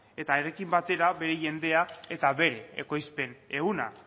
eta honekin batera bere jendea eta bere ekoizpen ehuna